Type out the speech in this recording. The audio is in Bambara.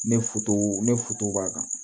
Ne ne b'a kan